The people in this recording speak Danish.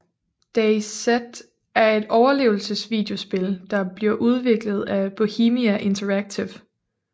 DayZ er et overlevelse videospil der bliver udviklet af Bohemia Interactive